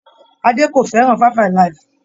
Adé kò fẹ́ràn 5-alive.